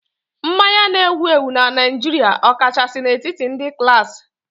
Mmanya na-ewu ewu na Naịjirịa, ọkachasị n'etiti ndị klaasị